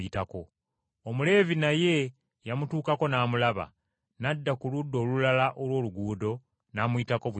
Omuleevi naye yamutuukako n’amulaba, n’adda ku ludda olulala olw’oluguudo, n’amuyitako buyisi